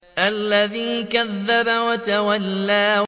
الَّذِي كَذَّبَ وَتَوَلَّىٰ